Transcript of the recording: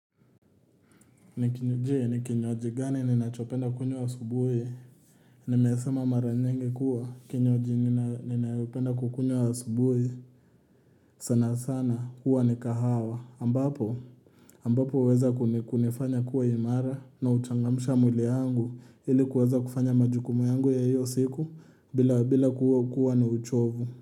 Nikinyoje nikinywaji gani ninachopenda kunywa asubuhi Nimesema mara nyingi kuwa kinywaji ninayopenda kukunywa asubuhi sana sana huwa ni kahawa ambapo ambapo uweza kunifanya kuwa imara na uchangamsha mwili wangu ili kuweza kufanya majukumu yangu ya hiyo siku bila bila kuwa kuwa na uchovu.